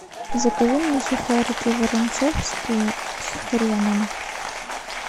закажи мне сухарики воронцовские с хреном